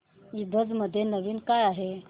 ईबझ मध्ये नवीन काय आहे